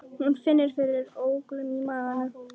Hún finnur fyrir ólgu í maganum.